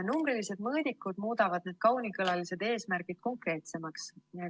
Numbrilised mõõdikud muudavad need kaunikõlalised eesmärgid konkreetsemaks.